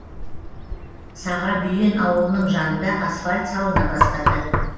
сағабүйен ауылының жанында асфальт салына бастады